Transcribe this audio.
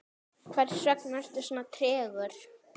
hversvegna ertu svona tregur